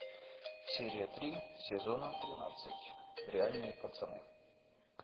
серия три сезона тринадцать реальные пацаны